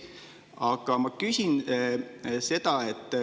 Aga ma küsin seda.